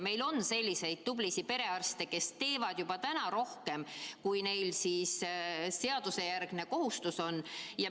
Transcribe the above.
Meil on selliseid tublisid perearste, kes teevad juba täna rohkem, kui seadusejärgne kohustus on.